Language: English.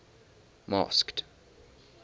masked